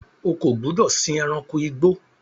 O kò gbúdọ̀ sìn ẹranko igbó!